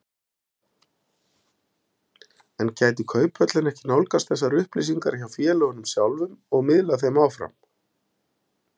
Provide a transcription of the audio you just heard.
En gæti Kauphöllin ekki nálgast þessar upplýsingar hjá félögunum sjálfum og miðlað þeim áfram?